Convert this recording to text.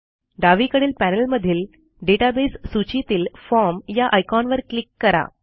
डावीकडील पॅनेलमधील डेटाबेस सूचीतील फॉर्म या आयकॉनवर क्लिक करा